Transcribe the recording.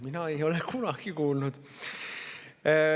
Mina ei ole sellest kunagi kuulnud.